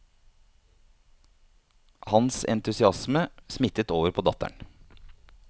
Hans entusiasme smittet over på datteren.